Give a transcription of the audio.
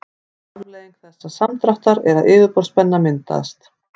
ein afleiðing þessa samdráttar er að yfirborðsspenna myndast